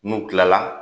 N'u kilala